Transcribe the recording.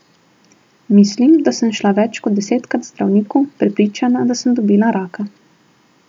Mislim, da sem šla več kot desetkrat k zdravniku, prepričana, da sem dobila raka.